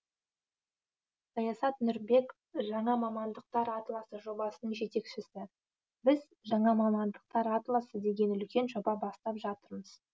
саясат нұрбек жаңа мамандықтар атласы жобасының жетекшісі біз жаңа мамандықтар атласы деген үлкен жоба бастап жатырмыз